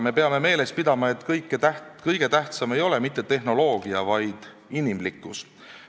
Me peame meeles pidama, et kõige tähtsam ei ole mitte tehnoloogia, vaid inimlikkus.